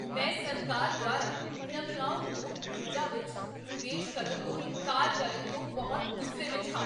ਮੈਂ ਸਰਕਾਰ ਦੁਆਰਾ ਨਵਿਆਉਣਯੋਗ ਊਰਜਾ ਵਿੱਚ ਨਿਵੇਸ਼ ਕਰਨ ਤੋਂ ਇਨਕਾਰ ਕਰਨ ਤੋਂ ਬਹੁਤ ਗੁੱਸੇ ਵਿੱਚ ਹਾਂ।